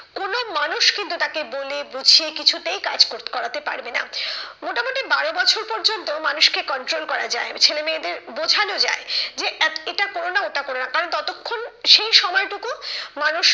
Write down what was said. কোনো মানুষ কিন্তু তাকে বলে বুঝিয়ে কিছুতেই কাজ করতে করাতে পারবে না। মোটামুটি বারো বছর পর্যন্ত মানুষকে control করা যায় ছেলে মেয়েদের বোঝানো যায় যে এটা কোরো না ওটা কোরো না কারণ ততক্ষন সেই সময়টুকু মানুষ